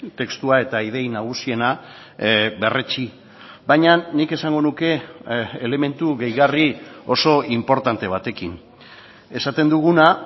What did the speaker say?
testua eta idei nagusiena berretsi baina nik esango nuke elementu gehigarri oso inportante batekin esaten duguna